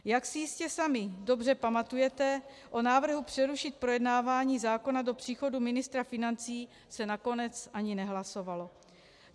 Jak si jistě sami dobře pamatujete, o návrhu přerušit projednávání zákona do příchodu ministra financí se nakonec ani nehlasovalo.